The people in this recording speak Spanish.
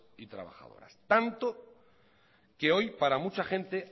y trabajadoras tanto que hoy para mucha gente